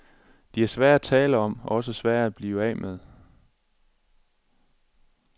De er svære at tale om og også svære at blive af med.